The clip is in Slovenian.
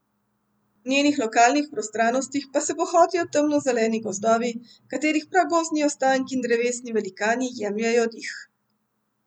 V njenih lokalnih prostranostih pa se bohotijo temno zeleni gozdovi, katerih pragozdni ostanki in drevesni velikani jemljejo dih.